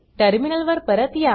terminal वर परत या